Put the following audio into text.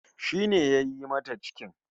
Shi ne yayi mata cikin?